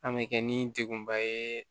An bɛ kɛ ni degunba ye